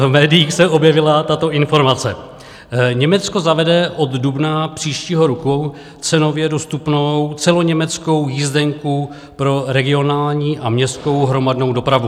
V médiích se objevila tato informace: Německo zavede od dubna příštího roku cenově dostupnou celoněmeckou jízdenku pro regionální a městskou hromadnou dopravu.